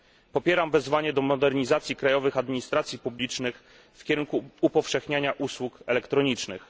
Popieram wezwanie do modernizacji krajowych administracji publicznych w kierunku upowszechniania usług elektronicznych.